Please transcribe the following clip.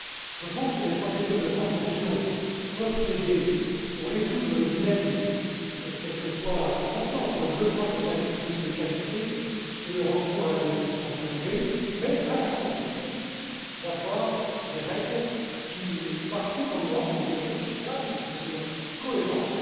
Je pense que les procédures de concession peuvent aider à résoudre le dilemme quelque fois important entre le besoin de services publics de qualité et le recours à l'investissement privé, mais à la condition d'avoir des règles qui encadrent les choses partout en Europe de manière équitable et cohérente.